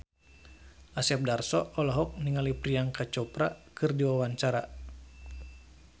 Asep Darso olohok ningali Priyanka Chopra keur diwawancara